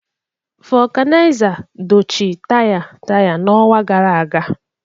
Vulcanizer dochie taya taya n'ọnwa gara aga